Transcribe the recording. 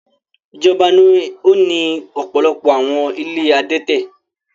Ijọba ni o ni ọpọlọpọ awọn ìlé adẹtẹ